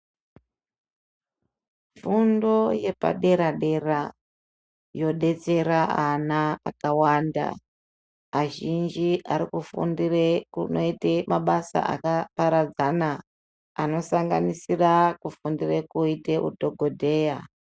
Fundo yepadera-dera yodetsera vana vakawanda. Azhinji arikufundire kunoite mabasa akaparadzana anosanganisira, kufundire koite udhogodheya.